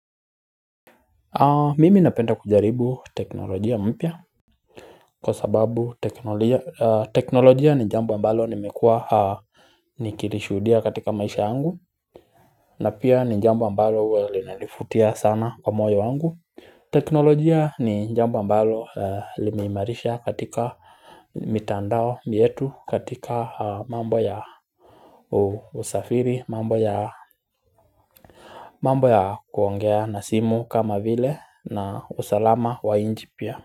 Mimi napenda kujaribu teknolojia mpya kwa sababu teknolojia ni jambo ambalo nimekua Nikilishuhudia katika maisha yangu na pia ni jambo ambalo huwa linanifutia sana kwa moyo wangu teknolojia ni jambo ambalo limeimarisha katika mitandao yetu katika mambo ya usafiri mambo ya mambo ya kuongea na simu kama vile na usalama wa inji pia.